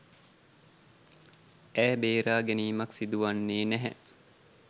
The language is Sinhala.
"ඈ බේරාගැනීමක්" සිදුවන්නේ නැහැ.